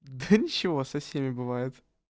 да ничего со всеми бывает